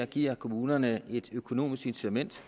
giver kommunerne et økonomisk incitament